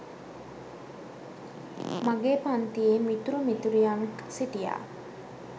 මගේ පන්තියේ මිතුරු මිතුරියන්ක් සිටියා